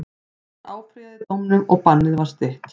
Hann áfrýjaði dómnum og bannið var stytt.